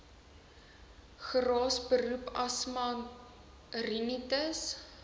geraas beroepsasma rinitis